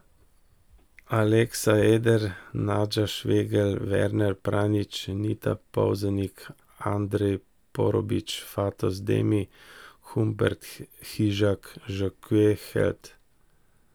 Alexa Eder, Nađa Švegelj, Werner Pranjič, Nita Polzelnik, Andrey Porobić, Fatos Demi, Humbert Hižak, Jacques Held.